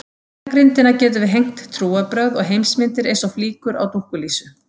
Á beinagrindina getum við hengt trúarbrögð og heimsmyndir eins og flíkur á dúkkulísu.